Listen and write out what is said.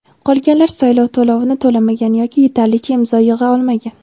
Qolganlar saylov to‘lovini to‘lamagan yoki yetarlicha imzo yig‘a olmagan.